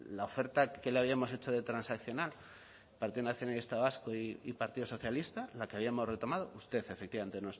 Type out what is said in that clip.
la oferta que le habíamos hecho de transaccional el partido nacionalista vasco y partido socialista la que habíamos retomado usted efectivamente